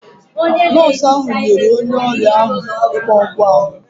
Nọọsụ ahụ nyere onye ọrịa ahụ ịgba ọgwụ ahụ.